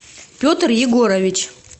петр егорович